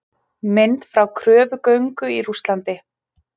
Mynd frá kröfugöngu í Rússlandi.